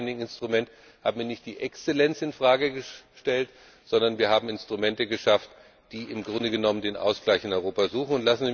Mit dem Widening Instrument hat man nicht die Exzellenz infrage gestellt, sondern wir haben Instrumente geschaffen, die im Grunde den Ausgleich in Europa suchen.